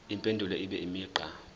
impendulo ibe imigqa